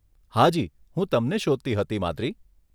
હાજી, હું તમને શોધતી હતી, માદ્રી.